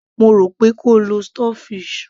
mo rò pé kí o lo stock fish